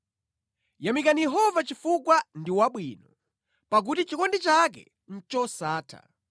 Yamikani Yehova chifukwa ndi wabwino; pakuti chikondi chake ndi chosatha.